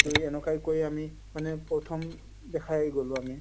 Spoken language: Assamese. এনেকৈ আমি মানে প্ৰথম দেখাই গোলো আমি